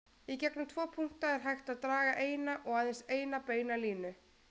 Í gegnum tvo punkta er hægt að draga eina og aðeins eina beina línu.